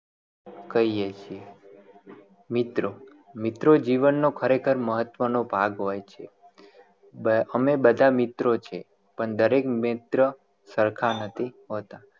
કહીએ છે મિત્રો મિત્રો જીવન નો ખરેખર મહત્વ નો ભાગ હોય છે અમે બધા મિત્રો છે પણ દરેક મિત્ર સરખા નથી હોતા